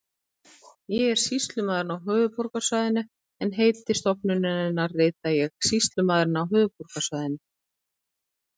Ég er sýslumaðurinn á höfuðborgarsvæðinu en heiti stofnunarinnar rita ég Sýslumaðurinn á höfuðborgarsvæðinu.